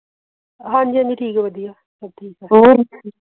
ਹਨ ਜੀ ਹਨ ਜੀ ਠੀਕ ਹੈ ਹੋਰ